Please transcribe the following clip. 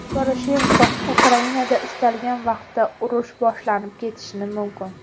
Poroshenko: Ukrainada istalgan vaqtda urush boshlanib ketishi mumkin.